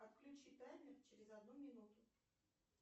отключи таймер через одну минуту